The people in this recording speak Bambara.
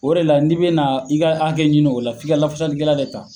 O de la n'i bena i ka hakɛ ɲini o la f'i ka lafasali kɛla de ta